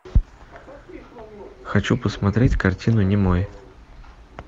хочу посмотреть картину немой